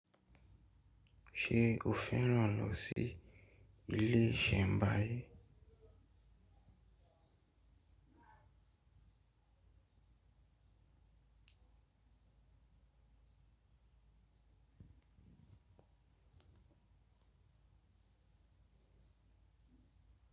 Ṣé o fẹ́ràn lọ sí ilé ìsẹ̀nbáyé.